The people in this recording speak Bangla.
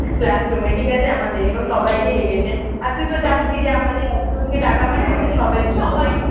class room এ ঠিক আছে আমাদের এবার সবাইকে ডেকেছে আর তুই তো জানতি যে আমাদের একজনকে ডাকা মানে সবাইকে যাওয়া